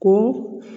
Ko